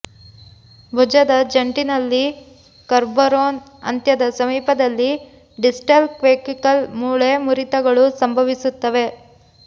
ಭುಜದ ಜಂಟಿ ನಲ್ಲಿ ಕೊರ್ಬರೊನ್ ಅಂತ್ಯದ ಸಮೀಪದಲ್ಲಿ ಡಿಸ್ಟಲ್ ಕ್ವೇವಿಕಲ್ ಮೂಳೆ ಮುರಿತಗಳು ಸಂಭವಿಸುತ್ತವೆ